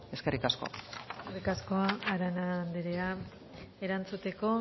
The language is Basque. eskerrik asko eskerrik asko arana andrea erantzuteko